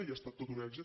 i ha estat tot un èxit